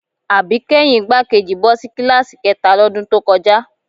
Àbíkẹ́yìn igbákejì bọ́ sí kíláàsì kẹ́ta lọ́dún tó kọjá